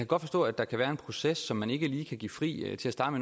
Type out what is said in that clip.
godt forstå at der kan være en proces som man ikke lige kan give fri til at starte